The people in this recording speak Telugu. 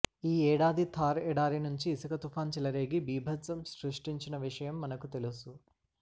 ఈ ఏడాది థార్ ఎడారి నుంచి ఇసుక తుపాన్ చెలరేగి బీభత్సం సృష్టించిన విషయం మనకు తెలుసు